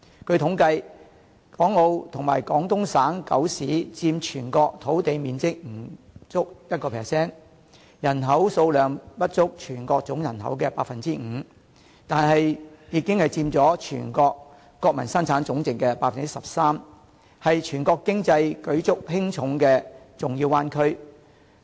據統計，港澳及廣東省九市佔全國土地面積不足 1%， 人口數量不足全國總人口 5%， 但已經佔全國國民生產總值 13%， 是全國經濟舉足輕重的重要灣區。